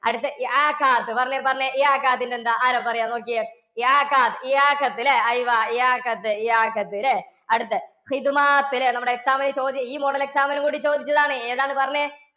അടുത്ത പറഞ്ഞെ പറഞ്ഞെ ന്‍ടെ എന്താ? ആരാ പറയാ നോക്യേ. ല്ലേ ല്ലേ? ല്ലേ? നമ്മുടെ exam നു ചോദി~ ഈ model exam നും കൂടി ചോദിച്ചതാണ്. ഏതാണ് പറഞ്ഞെ.